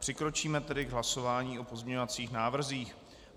Přikročíme tedy k hlasování o pozměňovacích návrzích.